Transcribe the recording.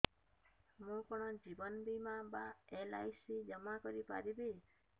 ମୁ କଣ ଜୀବନ ବୀମା ବା ଏଲ୍.ଆଇ.ସି ଜମା କରି ପାରିବି